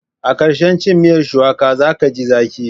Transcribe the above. A ƙarshen cin miyar shuwaka za ka ji zaƙi.